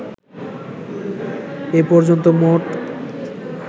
এ পর্যন্ত মোট